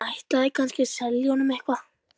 Hún ætlaði kannski að selja honum eitthvað.